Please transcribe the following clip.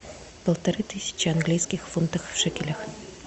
полторы тысячи английских фунтов в шекелях